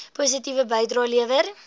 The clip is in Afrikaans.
positiewe bydrae lewer